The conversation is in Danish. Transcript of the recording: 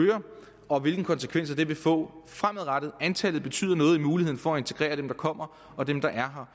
og hvilke konsekvenser den vil få fremadrettet antallet betyder noget for muligheden for at integrere dem der kommer og dem der er